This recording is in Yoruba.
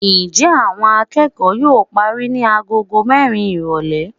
njẹ awón akeko yóò parí ni àgọ́gọ́ mẹrin irolè.